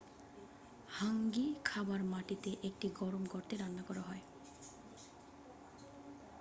হাঙ্গি খাবার মাটিতে একটি গরম গর্তে রান্না করা হয়